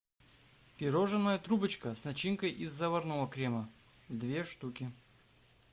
пирожное трубочка с начинкой из заварного крема две штуки